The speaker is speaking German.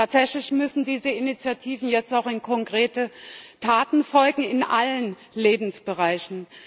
Tatsächlich müssen diesen Initiativen jetzt auch konkrete Taten folgen in allen Lebensbereichen.